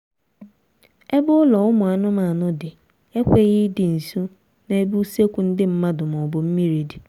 ebe ụlọ ụmụ anụmanụ dị ekweghị ịdị nso n'ebe usekwu ndị mmadụ maọbụ mmiri dị